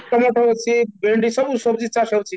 ଟମାଟ ଅଛି ଭେଣ୍ଡି ଅଛି ସବୁ ସବୁ ଜିନିଷ ଏଠି